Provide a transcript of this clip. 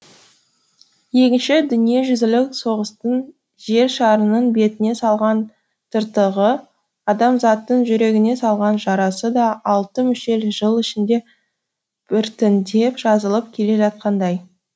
екінші дүниежүзілік соғыстың жер шарының бетіне салған тыртығы адамзаттың жүрегіне салған жарасы да алты мүшел жыл ішінде біртіндеп жазылып келе жатқандай